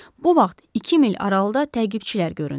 Bu vaxt iki mil aralıda təqibçilər göründü.